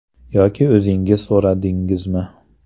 Yoki o‘zingiz so‘radingizmi?